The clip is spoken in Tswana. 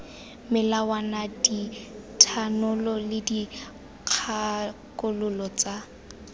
melawana dithanolo le dikgakololo tsa